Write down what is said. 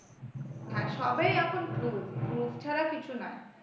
হ্যাঁ সবেই এখন proof proof ছাড়া কিছুই নয়।